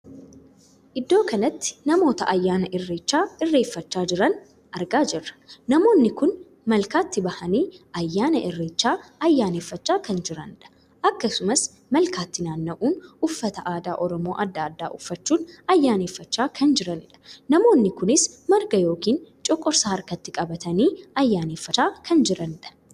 Iddoo kanatti namoota ayyaana irreechaa irrechaffachaa jiran argaa jirra. namoonni kun malkaatti bahanii ayyaana irreechaa ayyaaneffachaa kan jiranidha. akkasumas malkaatti naanna'uun uffannaa aadaa Oromoo addaa addaa uffachuun ayyaaneffachaa kan jiraniidha. namoonni kunis marga ykn coqorsa harkatti qabatanii ayyaaneffachaa kan jiranidha.